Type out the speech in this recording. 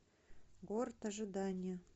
город ожидания